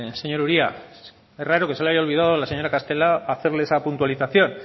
señor uria es raro que se le haya olvidado a la señora castelo hacerle esa puntualización